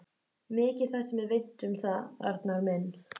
Mikið þætti mér vænt um það, Arnar minn!